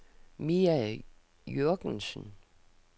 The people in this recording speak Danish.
Mia Jürgensen